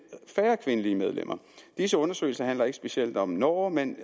færre kvindelige medlemmer disse undersøgelser handler ikke specielt om norge men